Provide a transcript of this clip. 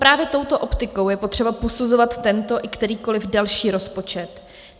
Právě touto optikou je potřeba posuzovat tento i kterýkoli další rozpočet.